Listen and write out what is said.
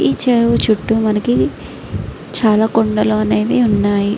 ఈ చెరువు చుట్టూ మనకి చాల కొండలు అనేవి వున్నాయి.